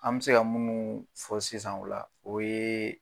An be se ka munnu fɔ sisan la , o ye